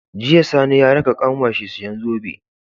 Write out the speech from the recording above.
Jiya sani ya raka kanwar shi siyan zobe